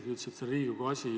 Ta ütles, et see on Riigikogu asi.